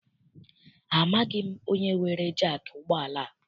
Amaghị m onye weere jaakị ụgbọala a.